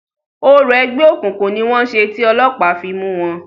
Orò ẹgbẹ́ òkùnkùn ni wọ́n ṣe ti ọlọ́pàá fi mú wọn.